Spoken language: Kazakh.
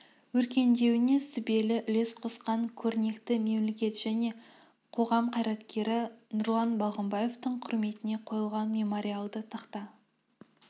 өркендеуіне сүбелі үлес қосқан көрнекті мемлекет және қоғам қайраткері нұрлан балғымбаевтың құрметіне қойылған мемориалды тақта